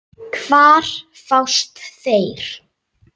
Hvar fást þeir?